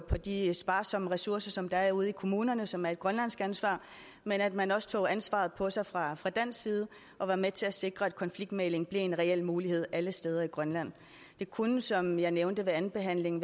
på de sparsomme ressourcer som der er ude i kommunerne som er et grønlandsk ansvar men at man også tog ansvaret på sig fra fra dansk side og var med til at sikre at konfliktmægling blev en reel mulighed alle steder i grønland det kunne som jeg nævnte ved andenbehandlingen